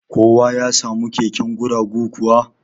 Kowa ya samu keken guragu kuwa?